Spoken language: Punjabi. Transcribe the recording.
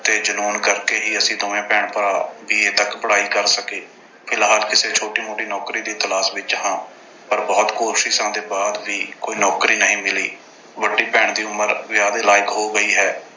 ਤੇ ਜਨੂੰਨ ਕਰਕੇ ਹੀ ਅਸੀਂ ਦੋਵੇਂ ਭੈਣ-ਭਰਾ B. A ਤੱਕ ਪੜ੍ਹਾਈ ਕਰ ਸਕੇ। ਫਿਲਹਾਲ ਕਿਸੇ ਛੋਟੀ ਮੋਟੀ ਨੌਕਰੀ ਦੀ ਤਲਾਸ਼ ਵਿੱਚ ਹਾਂ ਪਰ ਬਹੁਤ ਕੋਸ਼ਿਸ਼ਾਂ ਦੇ ਬਾਅਦ ਵੀ ਕੋਈ ਨੌਕਰੀ ਨਹੀਂ ਮਿਲੀ। ਵੱਡੀ ਭੈਣ ਦੀ ਉਮਰ ਵਿਆਹ ਦੇ ਲਾਇਕ ਹੋ ਗਈ ਹੈ।